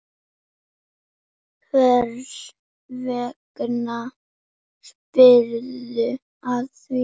Hvers vegna spyrðu að því?